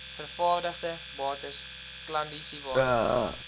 vervaardigde bates klandisiewaarde